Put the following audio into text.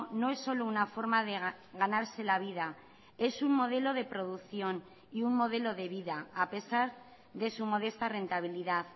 no es solo una forma de ganarse la vida es un modelo de producción y un modelo de vida a pesar de su modesta rentabilidad